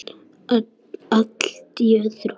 Allt öðrum.